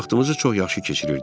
Vaxtımızı çox yaxşı keçirirdik.